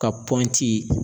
Ka pɔnti